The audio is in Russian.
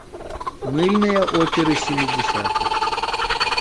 мыльные оперы семидесятых